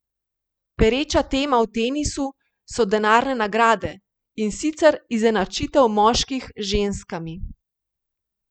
Pereča tema v tenisu so denarne nagrade, in sicer izenačitev moških z ženskami.